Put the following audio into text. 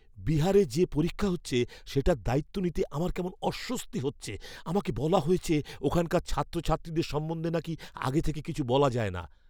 বিহারে যে পরীক্ষা হচ্ছে সেটার দায়িত্ব নিতে আমার কেমন অস্বস্তি হচ্ছে। আমাকে বলা হয়েছে ওখানকার ছাত্রছাত্রীদের সম্বন্ধে নাকি আগে থেকে কিছু বলা যায় না।